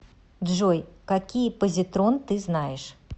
джой какие позитрон ты знаешь